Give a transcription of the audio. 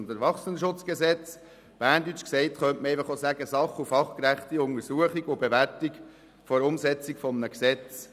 Auf Berndeutsch könnte man auch einfach sagen: Sach- und fachgerechte Untersuchung und Bewertung der Umsetzung eines Gesetzes.